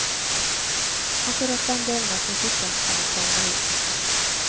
Akkurat den delen av kritikken kan hun ta med ro.